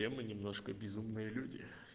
все мы немножко безумные люди